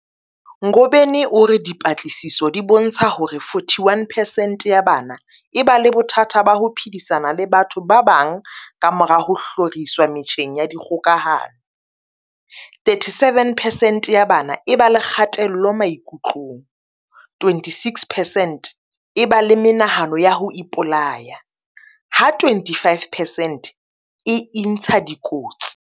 Ngobeni o re dipatlisiso di bontsha hore 41 percent ya bana e ba le bothata ba ho phedisana le batho ba bang kamora ho hloriswa metjheng ya dikgokahano, 37 percent ya bana e ba le kgatello maikutlong, 26 percent e ba le menahano ya ho ipolaya ha 25 percent e intsha dikotsi.